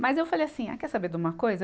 Mas eu falei assim, ah quer saber de uma coisa?